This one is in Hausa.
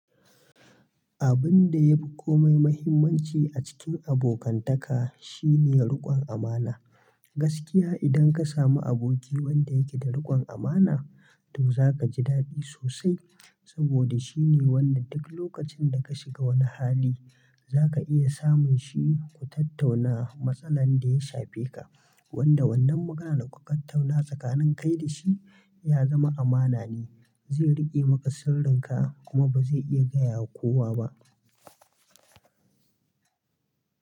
Abun da ya fi komai mahimmanci a cikin abokantaka shine riƙon amana. Gaskiya idan ka samu aboki wanda yake da riƙon amana, to za ka ji daɗi sosai. Saboda shine wanda duk lokacin da ka shiga wani hali, za ka iya samun shi ku tattauna matsalan da ya shafe ka. Wanda wannan maganan da ku ka tauna tsakanin kai da shi ya zama amana ne. Zai riƙe maka sirrinka kuma ba zai iya gaya wa kowa ba.